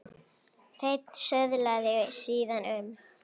Hreinn söðlaði síðan um.